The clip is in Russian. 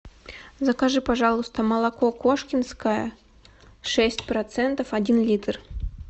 закажи пожалуйста молоко кошкинское шесть процентов один литр